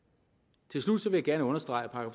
til slut vil jeg gerne understrege at